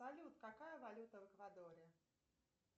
салют какая валюта в эквадоре